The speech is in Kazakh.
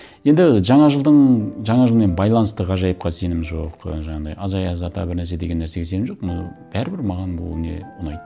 енді жаңа жылдың жаңа жылмен байланысты ғажайыпқа сенім жоқ жаңағындай аяз ата бір нәрсе деген нәрсеге сенім жоқ но бәрібір маған бұл не ұнайды